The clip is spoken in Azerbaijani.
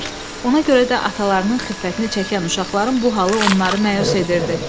Ona görə də atalarının xiffətini çəkən uşaqların bu halı onları məyus edirdi.